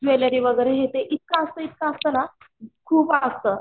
Jewellery वगैरे हे ते इतकं असत इतकं असत ना खूप असत.